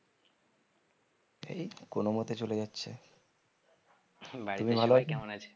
এই তো কোনো মোতে চলে যাচ্ছে